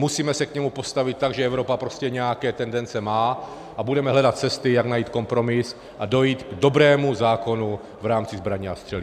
Musíme se k němu postavit tak, že Evropa prostě nějaké tendence má, a budeme hledat cesty, jak najít kompromis a dojít k dobrému zákonu v rámci zbraní a střeliva.